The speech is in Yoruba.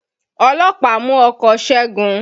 Ọlọ́pàá mú ọkọ̀ Ṣégun